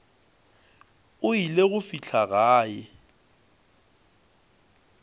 o ile go fihla gae